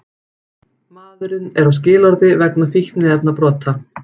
Maðurinn er á skilorði vegna fíkniefnabrota